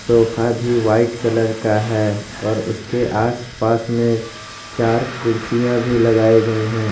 Sofa भी white colour का है और उसके आसपास में चार कुर्सियां भी लगाए गए हैं।